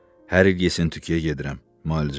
Hər il Yesentükkiyə gedirəm, müalicəyə.